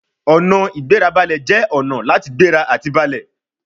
Ọ̀nà-ìgbérabalẹ̀ jẹ́ ọ̀nà láti gbéra àti balẹ̀